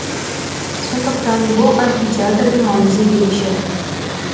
сондықтан бұл амфитеатрдың маңызы ерекше